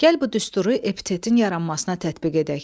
Gəl bu düsturu epitetin yaranmasına tətbiq edək.